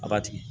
A b'a tigɛ